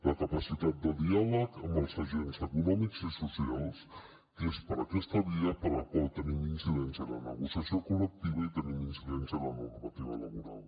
la capacitat de diàleg amb els agents econòmics i socials que és per aquesta via per la qual tenim incidència en la negociació col·lectiva i tenim incidència en la normativa laboral